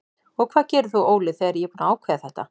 Og hvað gerir þú Óli þegar ég er búinn að ákveða þetta?